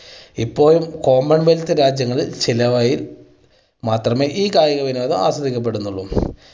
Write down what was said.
ഇപ്പോൾ common wealth രാജ്യങ്ങളിൽ മാത്രമേ ഈ കായിക വിനോദം ആസ്വദിക്കപ്പെടുന്നുള്ളൂ.